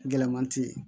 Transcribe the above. Gɛlɛman tɛ yen